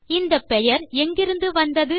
இந்த பெயர் எங்கிருந்து வந்தது